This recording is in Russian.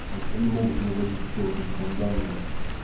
значит они могут не вводить все вот эти там данные